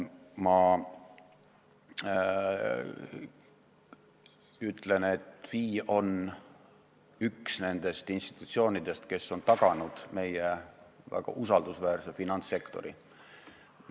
Ma ütlen, et FI on üks nendest institutsioonidest, kes on taganud meie väga usaldusväärse finantssektori.